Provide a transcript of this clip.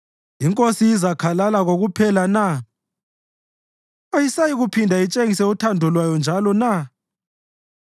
“INkosi izakhalala kokuphela na? Ayisayikuphinde itshengise uthando lwayo njalo na?